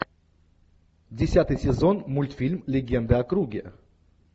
десятый сезон мультфильм легенда о круге